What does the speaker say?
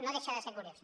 no deixa de ser curiós